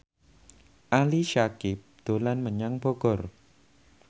Ali Syakieb dolan menyang Bogor